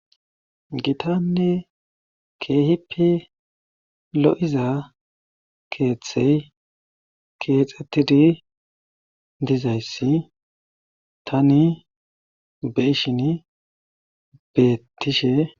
Gitanne keehippe lo7iza keethey keexettidi dizayssi tani be7ishini beettishe.